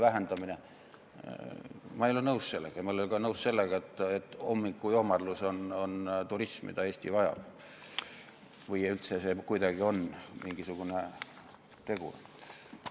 Ma ei ole sellega nõus ja ma ei ole nõus ka sellega, et hommikujoomarlus on see turism, mida Eesti vajab, või et see üldse kuidagi on mingisugune tegur.